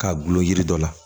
K'a gulon yiri dɔ la